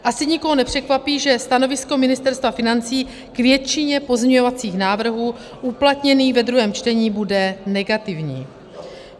Asi nikoho nepřekvapí, že stanovisko Ministerstva financí k většině pozměňovacích návrhů uplatněných ve druhém čtení bude negativní.